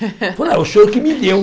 Falou ah, o senhor que me deu.